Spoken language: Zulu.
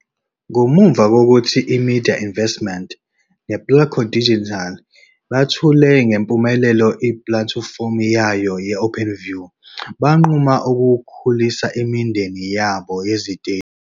Ngemuva kokuthi iMedia Investments nePlatco Digital bethule ngempumelelo ipulatifomu yayo ye-OpenView, banquma ukukhulisa imindeni yabo yeziteshi.